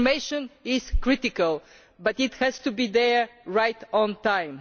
Information is critical, but it has to be there on time.